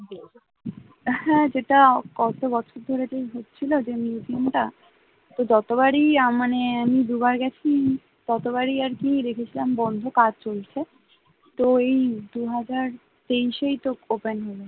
হ্যাঁ, সেটা কত বছর ধরে যে হচ্ছিলো যে museum টা যে যতবারই আহ মানে আমি দুবার গেছি ততবারই আরকি দেখেছিলাম বন্ধ কাজ চলছে, তো এই দুহাজার তেইশেই তো open হলো